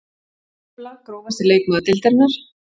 Embla Grófasti leikmaður deildarinnar?